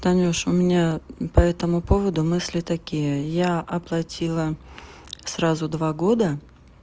танюш у меня по этому поводу мысли такие я оплатила сразу два года